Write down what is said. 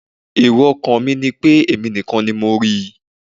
Èrò ọkàn mi ni pé èmi nìkan ni mo rí i.